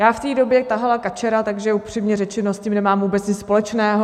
Já v té době tahala kačera, takže upřímně řečeno s tím nemám vůbec nic společného.